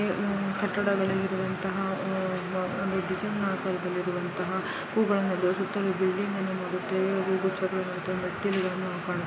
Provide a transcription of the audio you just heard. ಉಹ್ ಕಟ್ಟಡದಲ್ಲಿರುವಂತಹ ಅಹ್ ಒಂದು ಆಕರದಲ್ಲಿರುವಂತಹ ಹೂಗಳು ಇರೋ ಅಂತ ಈ ಬಿಲ್ಡಿಂಗ್ ಅನ್ನು ನೋಡುತ್ತೇವೆ. ಗುಚ್ಛಗಳು ಇರುವಂತಹ ಮೆಟ್ಟಿಲುಗಳನ್ನು ಕಾಣು--